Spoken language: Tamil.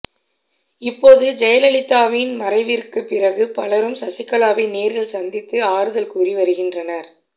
இப்போது ஜெயலலிதாவின் மறைவிற்குப் பிறகு பலரும் சசிகலாவை நேரில் சந்தித்து ஆறுதல் கூறி வருகின்றனர்